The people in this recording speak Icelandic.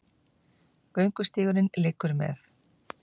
Göngustígurinn liggur með